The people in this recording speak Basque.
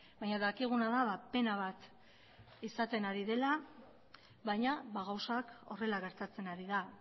baina dakiguna da pena bat izaten ari dela baina gauzak horrela gertatzen ari da